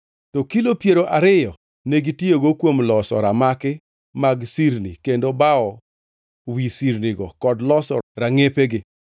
To kilo piero ariyo negitiyogo kuom loso ramaki mag sirni kendo bawo wi sirnigo kod loso rangʼepegi.